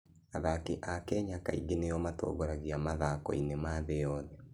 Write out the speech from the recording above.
Athaki a Kenya kaingĩ nĩo matongoragia mathako-inĩ ma thĩ yothe.